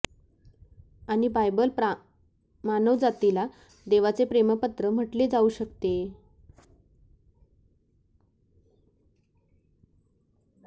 आणि बायबल मानवजातीला देवाचे प्रेम पत्र म्हटले जाऊ शकते